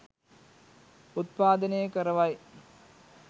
උත්පාදනය කරවයි.